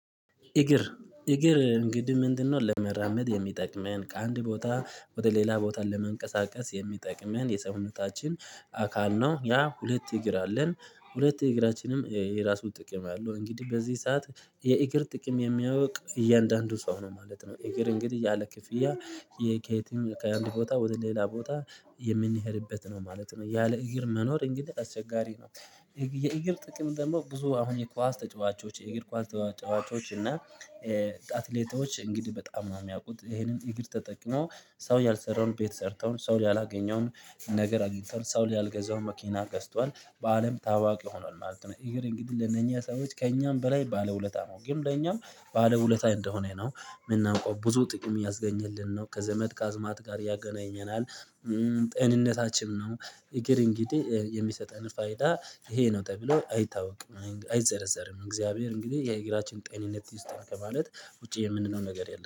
እግር እግር እንግዲህ ምንድነው ለመራመድ የሚጠቅመን ከአንድ ቦታ ወደ ሌላ ቦታ ለመንቀሳቀስ የሚጠቅመን የሰውነታችን አካል ነው። ያ ሁለት እግር አለን ሁለት እግራችንም የራሱ ጥቅም አለው እንግዲህ በዚህ ሰዓት የእግር ጥቅም የሚያውቅ እያንዳንዱ ሰው ነው ማለት ነው እግር እንግዲህ ያለ ክፍያ የከየትም ከአንድ ቦታ ወደ ሌላ ቦታ የምንሄድበት ነው ማለት ነው። ያለ እግር መኖር እንግዲህ አስቸጋሪ ነው። የእግር ጥቅም ደግሞ ብዙ አሁን የኳስ ተጫዋቾች የእግር ኳስ ተጫዋቾች እና አትሌቶች እንግዲህ በጣም ነው የሚያውቁት ይሄንን እግር ተጠቅሞ ሰው ያልሰራውን ቤት ሰርተው ሰው ያላገኘውን ነገር አግኝተዋል ሰው ላይ ያልገዛው መኪና ገዝቷል በአለም ታዋቂ ሆኗል ማለት ነው። እግር እንግዲህ ለእነኚህ ሰዎች ከእኛም በላይ ባለ ውለታ ነው ግን ለእኛም ባለ ውለታ እንደሆነ ነው የምናውቀው ብዙ ጥቅም ያስገኘልን ነው ከዘመድ ከአዝማድ ጋር ያገናኘናል ጤንነታችንም ነው። እግር እንግዲህ የሚሰጠን ፋይዳ ይሄ ነው ተብሎ አይታወቅም አይዘረዘርም እግዚአብሔር እንግዲህ የእግራችን ጤንነት ይውስጥን ከማለት ውጪ የምንለው ነገር የለም።